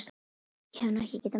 Ég hef nú ekki getað merkt það.